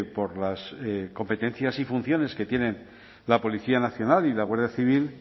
por las competencias y funciones que tienen la policía nacional y la guardia civil